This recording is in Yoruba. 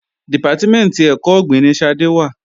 Dìpátímẹ̀ntì ẹ̀kọ́ ọ̀gbìn ni Ṣadé wà